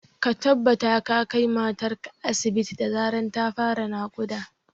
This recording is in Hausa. Ka tabbata ka kai matar ka asibit da zarar ta fara naƙuda